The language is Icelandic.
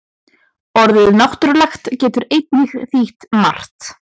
Orðið náttúrulegt getur einnig þýtt margt.